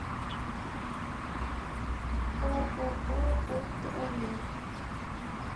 ооо ультрамед